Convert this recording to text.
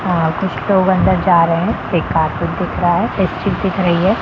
कुछ लोग अंदर जा रहे हैं एक कार्पेट दिख रहा है एक चिप दिख रही हैं।